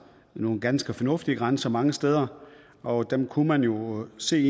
nogle ganske fornuftige grænser mange steder og dem kunne man jo se